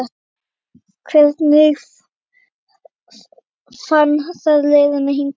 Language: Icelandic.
Hvernig fann það leiðina hingað?